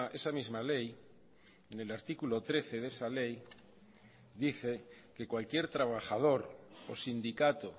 esa misma ley en el artículo trece de esa ley dice que cualquier trabajador o sindicato